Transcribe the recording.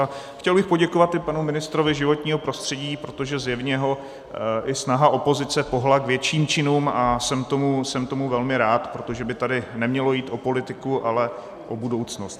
A chtěl bych poděkovat i panu ministrovi životního prostředí, protože zjevně ho i snaha opozice pohnula k větším činům, a jsem tomu velmi rád, protože by tady nemělo jít o politiku, ale o budoucnost.